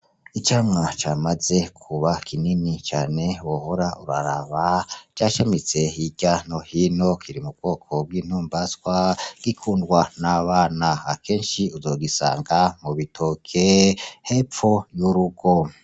Icamwa camaze kuba kinini cane buhora uraraba rya shamitse hirya nohino kiri mu bwoko bw'intumbaswa gikundwa n'abana akenshi uzogisanga mubitoke hepfo y'urugo.